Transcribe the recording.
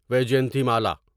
Vyjayanthimala